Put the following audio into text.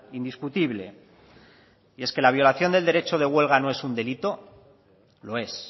indiscutible y es que la violación del derecho de huelga no es un delito lo es